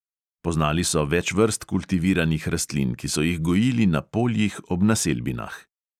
Poznali so več vrst kultiviranih rastlin, ki so jih gojili na poljih ob naselbinah.